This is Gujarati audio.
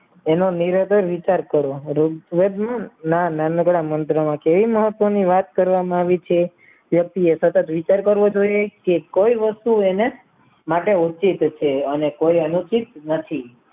એનો નિરાતે વિચાર કરો ના નાનકડા મંત્ર માં કેવી મહત્વની વાત કરવામાં આવી છે વ્યક્તિએ સતત વિચાર કરવો જોઈએ કે કોઈ વસ્તુ એને માટે ઊંચી થશે અને કોઈ અનુચિત નથી